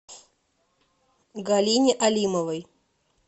галине алимовой